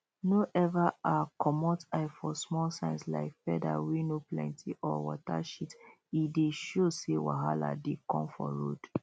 no ever um comot eye for small signs like feather wey no plenty or water shit e dey show say wahala dey come for road